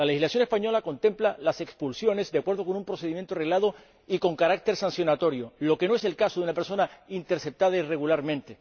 La legislación española contempla las expulsiones, de acuerdo con un procedimiento reglado y con carácter sancionatorio, que no es el caso de una persona interceptada irregularmente.